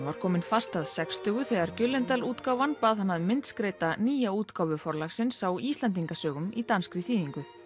var kominn fast að sextugu þegar gyldendal útgáfan bað hann að myndskreyta nýja útgáfu Forlagsins á Íslendingasögum í danskri þýðingu